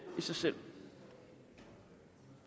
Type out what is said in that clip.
sig selv